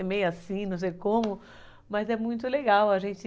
É meio assim, não sei como, mas é muito legal a gente...